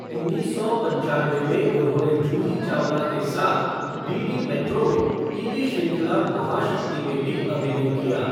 उन्नीस सौ पंचानवे में उन्होंने जूही चावला के साथ डीडी मेट्रो में टीवी श्रृंखला महाशक्ति में भी अभिनय किया।